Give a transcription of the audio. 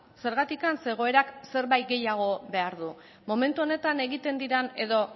zergatik zeren egoerak zerbait gehiago behar du momentu honetan egiten diren edo